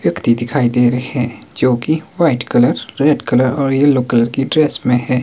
व्यक्ति दिखाई दे रहे हैं जो की वाइट कलर रेड कलर और येलो कलर की ड्रेस में है।